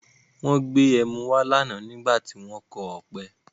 Wọ́n gbé ẹmu wá lánàá nígbà tí wọn kọ ọ̀pẹ.